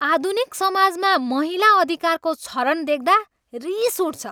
आधुनिक समाजमा महिला अधिकारको क्षरण देख्दा रिस उठ्छ।